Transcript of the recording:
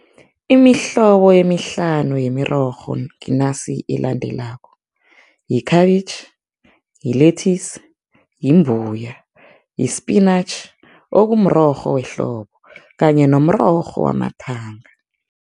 Imihlobo emihlanu yemirorho nginasi elandelako, yi-cabbage, yi-lettuce, yimbuya, yi-spinach, okumrorho wehlobo kanye nomrorho wamathanga.